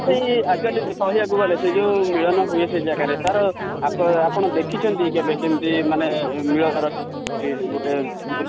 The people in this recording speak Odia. ସେଇ actually କହିବାକୁ ଗଲେ ସେ ଯଉ ମିଳନ ହୁଏ ସେ ଜାଗାରେ ତାର ଆପଣ ଦେଖିଛନ୍ତି କି କେବେ କେମିତି ମାନେ ଦୃଶ୍ୟ